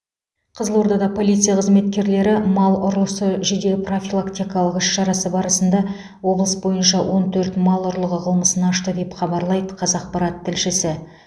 қызылордада полиция қызметкерлері мал ұрысы жедел профилактикалық іс шарасы барысында облыс бойынша он төрт мал ұрлығы қылмысын ашты деп хабарлайды қазақпарат тілшісі